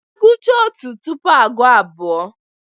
Agụchaa otu tupuu agụọ abụọ.